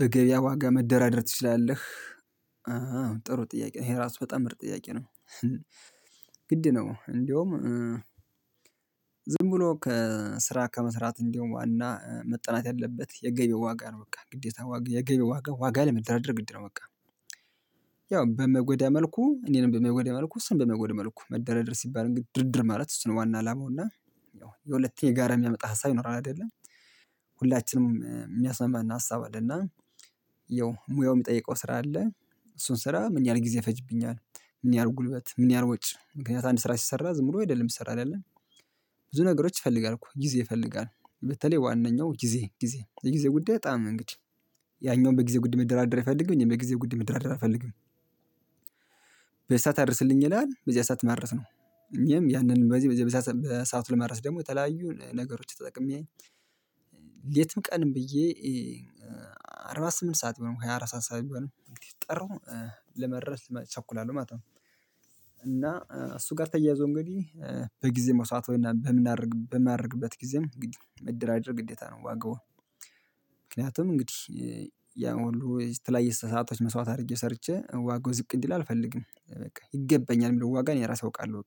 በገበያ ዋጋ መደራደር ትችላለህ ጥሩ ጥያቄ ነው ይሄ ራሱ በጣም ምርጥ ጥያቄ ነው ግድ ነው እንደውም ዝም ብሎ ከስራ ከመስራት እንደውም ዋና መጠናት ያለበት የገበያው ዋጋ ነው በቃ ግዴታ ዋጋ የገበያው ዋጋ ለመደራደር ግድ ነው በቃ ያው በማጎዳ መልኩ እኔንም በመይጎዳ መልኩ እሱንም በመይጎዳ መልኩ መደራደር ሲባል ድርድር ማለት እሱ ነው ዋና አላማው እና ያው የሁለቴ ጋር የሚያመጣ ሀሳብ ይኖራል አይደለም ሁላችንም የሚያስማማን ሀሳብ አለና ያው ሙያው የሚጠይቀው ስራ አለ እሱን ስራ ምን ያህል ጊዜ ፈጅብኛል ምን ያህል ጉልበት ምን ያህል ውጭ ምክንያት አንድ ስራ ሲሰራ ዝም ብሎ የደለም እሚሰራ አይደለም ብዙ ነገሮች ይፈልጋል እኮ ጊዜ ይፈልጋል በተለይ ዋናው ጊዜ ጊዜ የጊዜ ጉዳይ በጣም እንግዲህ ያኛውን በጊዜ ጉዳይ መደራደር አይፈልግም በጊዜ ጉዳይ መደራደር አልፈልግም በዚህ ሰዓት አድርስልኝ ይላል በዚህ ሰዓት ማድረስ ነው እኔም ያንን በዚህ በሰአቱ ለማድረስ ደግሞ የተለያዩ ነገሮች ተጠቅሜ ሌትም ቀንም ብዬ አርባ ስምንት ሰዓት ቢሆን ሃያ አራት ሰዓት ቢሆን ጠራው ለመድረስ እቸኩላለሁ ማለት ነው እና እሱ ጋር ተያይዞ እንግዲህ በጊዜ መስዋት በምናደርግ በምናደርግበት ጊዜም እንግዲ መደራደር ግዴታ ነው ዋጋውን ምክንያቱም እንግዲህ ያ ሁሉ የተለያየ ሰአታች መስዋዕት አድርጌ ሰርቼ ዋጋው ዝቅ እንዲል አልፈልግም በቃ ይገባኛል ዋጋ እኔ ራሴ አውቃለሁ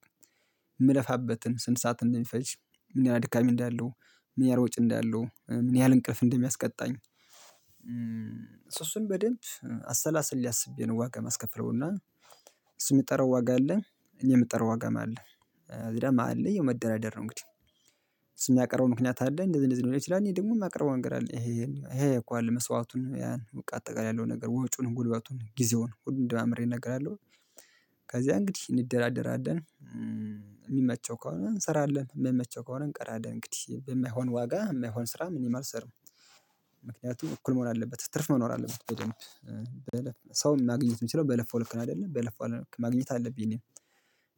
የምለፋበትን ስንት ሰዓት እንደሚፈጅ ምን ያህል ድካም እንዳለው ምን ያህል ወጪ እንዳለው ምን ያህል እንቅልፍ እንደሚያስቀጣኝ ስሱን በደንብ አሰላሰሌ አስቤ ዋጋ ማስከፍለውና እሱ የሚጠራው ዋጋ አለ እኔ የሚጠራው ዋጋም አለ እዛ መሃል ላይ መደራደር ነው እንግዲህ እሱስም የሚያቀረበው ምክንያት አለ እንደዚህ እንደዚህ ነው ሊል ስዠ እኔ ደግሞ የማቀርበው ነገር አለ ይሄን ይሄ እኮ አለ መስዋዕቱን በቃ አጠቃላይ ያለው ነገር ወጪውን ጉልበቱን ጊዜውን ሁለንም ደማምሬ እነግራለሁ ከዛ እንግዲህ እንደራደራደን የሚመቸው ከሆነ እንሰራለን የሚመቸው ከሆነ እንቀራለን እንግዲህ በማይሆን ዋጋ የማይሆን ስራ እኔም አልሰራም ምክንያቱም እኩል መሆን አለበት ትርፍ መኖር አለበት በደንብ ሰው ማግኘት የምችለው በለፋው ልክ ነው አይደለ በለፋው ልክ ማግኘት አለብኝ እኔ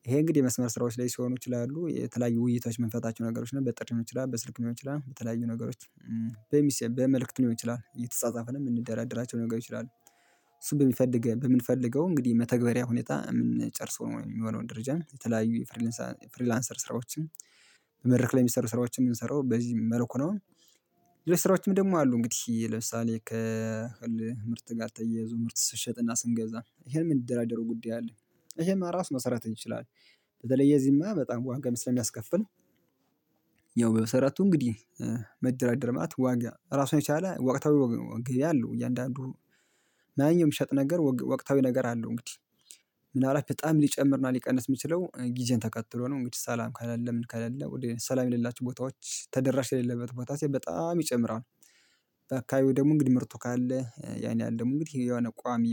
ይሄ እንግዲህ የመስመር ስራዎች ላይ ሲሆኑ ይችላሉ የተለያዩ ውይይቶች የምንፈታቸው ነገሮች ናቸው በጥሪም ሊሆን ይችላል በስልክም ሊሆን ይችላል በተለያዩ ነገሮች በመልእክት ሊሆን ይችላል እየተጻጻፍን የምንደራደራቸው ነገሮች ይችላሉ በሚፈልገው በምንፈልገው እንግዲህ መተግበሪያ ሁኔታ የምንጨርሰው የሚሆነውን ደረጃ የተለያዩ የፍሪላንሰር ስራዎችን በመድረክ ላይ የሚሰሩ ስራዎችን የምንሰራው በዚህ መልኩ ነው ሌሎችም ስራዎችም ደግሞ አሉ እንግዲህ ለምሳሌ ከምርት ጋር ተያይዞ ምርት ስንሸጥና ስንገዛ ይሄን ምን ደራደረው ጉዳይ አለ ይሄን ማራስ መሰራት እንችላለን በተለይ የዚህማ በጣም ዋጋም ስለሚያስከፍል ያው በሰራቱ እንግዲህ መደራደር ማለት ዋጋ ራሱን የቻለ ዋቅታዊ ገበያ አለወ እያንዳንዱ ማንኛውም የምሸጥ ነገር ወቅታዊ ነገር አለው እንግዲህ ምናልባት በጣም ሊጨምር ነው ሊቀንስ የሚችለው ጊዜን ተከትሎ ነው እንግዲህ ሰላም ካሌለ ምን ካሌለ ሰላም የሌላቸው ቦታዎች ተደራሽ የሌለበት ቦታ ሲል በጣም ይጨምራል በካይው ደግሞ እንግዲህ ምርቱ ካለ ያን ደግሞ እንግዲህ የሆነ ቋሚ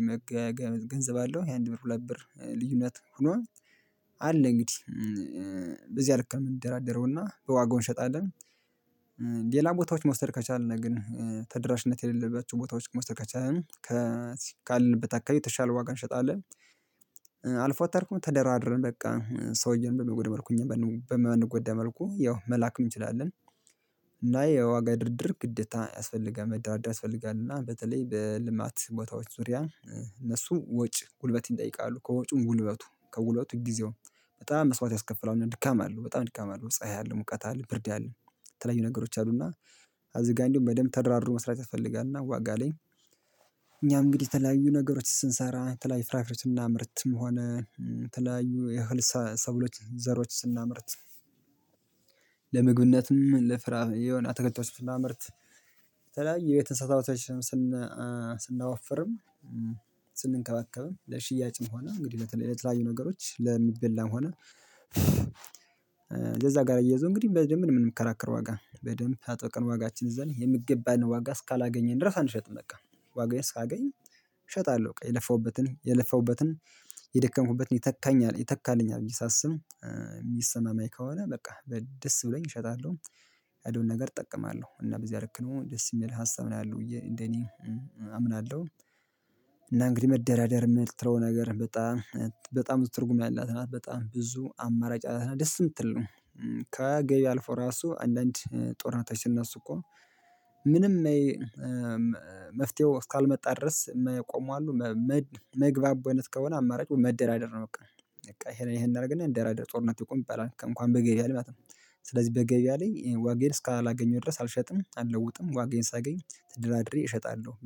ገንዘብ አለው ይሄ አንድ ብር ሁለት ብር ልዩነት ሆኖ አለ እንግዲህ በዚያ ልክ ነው የምንደራደረውና በዋጋው እንሸጣለን ሌላ ቦታዎች መውሰድ ከቻልን ግን ተደራሽነት የሌለባቸው ቦታዎች መውሰድ ከቻልን ከአለንበት አካባቢ የተሻለ ዋጋ እንሸጣለን፤ አልፎ ተርፎም ተደራድረን በቃ ሰውየን በማይጎዳ መልኩ እኛ በማንጎዳ መልኩ ያው መላክም እንችላለን። እና የዋጋ ድርድር ግዴታ ያስፈልጋል መደራደር ያስፈልጋል እና በተለይ በልማት ቦታዎች ዙሪያ እነሱም ወጭ ጉልበት ይጠይቃሉ ከወጩም ጉልበቱ ከጉልበቱ ጊዜውም በጣም መስዋዕት ያስከፍላሉ፤ ድካም አለው በጣም ድካም አለው ፀሀይ አለው ሙቀት አለው ብርድ አለው የተለያዩ ነገሮች አሉና እዝጋ በደንብ ተደራድሮ መስራት ያስፈልጋልና ዋጋ ላይ እኛ እንግዲህ የተለያዩ ነገሮች ስንሰራ የተለያዩ ፍራፍሬዎችን ስናምርትም ሆነ ተለያዩ የህል ሰብሎች ዘሮች ስናምርት ለምግብነትም ለፍራህ የሆነ አተክልቶች ስናመርት የተለያየ የቤት እንስሳቶችን ስና ስናወፍርም ስንንከባከብም ለሽያጭም ሆነ እንግዲህ ለተለያዩ ነገሮች ለሚበላ ሆነ ለዛ ጋር እያይዞ እንግዲህ በደንብ ምን የምንከራከረው ዋጋ በደንብ አጠቃላይ ዋጋችን እዛ ላይ የምገባን ዋጋ እስካላገኘን ድረስ አንሸጥም በቃ ዋጋዬን እስካገኝ እሸጣለሁ በቃ የለፋሁበትን የለፋሁበትን የደከምኩበትን የተካኛል የተካለኝ ብየ ሳስብ የሚሰማማኝ ከሆነ በቃ ደስ ብሎኝ እሸጣለሁ ያለውን ነገር እጠቀማለሁ እና በዚህ ልክ ነው ደስ የሚል ሀሳብ ነው ያለው እንደኔ አምናለሁ እና እንግዲህ መደራደር የምትለው ነገር በጣም በጣም ትርጉም ያላት ናት በጣም ብዙ አማራጭ አላትና ደስ የምትል ነው ከገበያ አልፎ ራሱ አንዳንድ ጦርነቶች ሲነሱ እኮ ምንም መፍትሄው እስካልመጣ ድረስ የማይቆሙ አሉ መግባብ አይነት ከሆነ አማራጭ መደራደር ነው በቃ ይሄን ይሄን እናደርግና እንደራደር ጦርነቱ ይቁም ይባላል እንኳን በገበያ ማለት ነው። ስለዚህ በገበያ ላይ ዋጋየን እስካላገኘሁ ድረስ አልሸጥም አልለውጥም ዋጋየን ሳገኝ ተድራድሬ እሸጣለሁ፤